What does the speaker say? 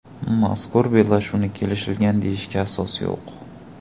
Mazkur bellashuvni kelishilgan deyishga asos yo‘q.